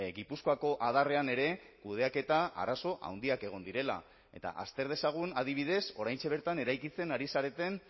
gipuzkoako adarrean ere kudeaketa arazo handiak egon direla eta azter dezagun adibidez oraintxe bertan eraikitzen ari zareten